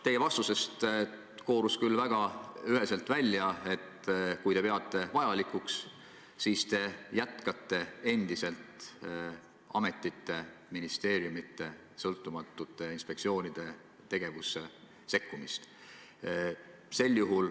Teie vastusest koorus küll väga üheselt välja, et kui te peate vajalikuks, siis te jätkate endiselt ametite, ministeeriumide ja sõltumatute inspektsioonide tegevusse sekkumist.